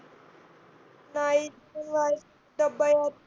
नाही आत्ता डब्ब्बा येईल.